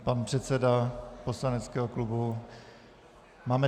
Pan předseda poslaneckého klubu...